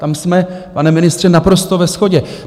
Tam jsme, pane ministře, naprosto ve shodě.